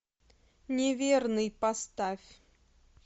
неверный поставь